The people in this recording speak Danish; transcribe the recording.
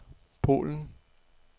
Polen